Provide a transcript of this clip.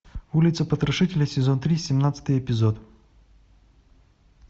улица потрошителя сезон три семнадцатый эпизод